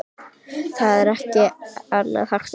Það var ekkert annað hægt að gera.